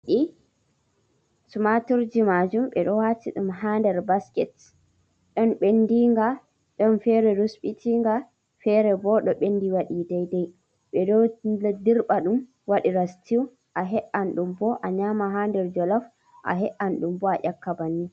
Tumaturji majum ɓe ɗo wati ɗum ha nɗer basket. Ɗon ɓenɗinga, ɗon fere rusɓitinga, fere ɓo ɗo ɓenɗi waɗi ɗaiɗai. Ɓe ɗo ɗirɓa ɗum waɗira sitiw. A he’an ɗum ɓo a nyama ha nɗer jolaf, a he’an ɗum bo aƴakka ɓanni.